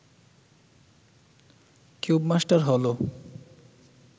cubemaster হল